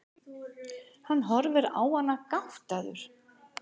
Hann horfir á hana gáttaður.